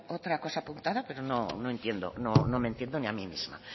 otra cosa apuntada pero no entiendo no me entiendo ni a mí misma